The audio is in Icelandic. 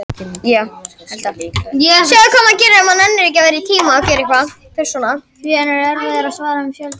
Ég set yfir okkur tímabundinn varnarskjöld sem er líka huliðshjálmur.